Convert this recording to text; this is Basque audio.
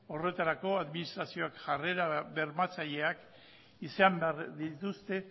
horretarako administrazioek jarrera bermatzaileak izan behar dituzte